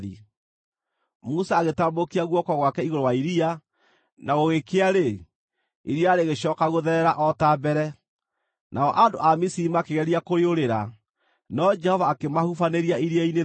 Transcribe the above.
Musa agĩtambũrũkia guoko gwake igũrũ wa iria, na gũgĩkĩa-rĩ, iria rĩgĩcooka gũtherera o ta mbere. Nao andũ a Misiri makĩgeria kũrĩũrĩra, no Jehova akĩmahubanĩria iria-inĩ thĩinĩ.